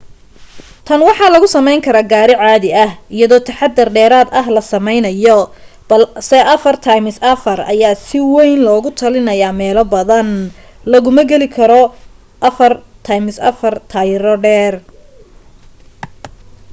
tan waxa lagu samayn karaa gaari caadi ah iyadoo taxaddar dheeraad ah la samaynayo balse 4x4 ayaa si wayn loogu talinaya meelo badan laguma geli karo 4x4 taayiro dheer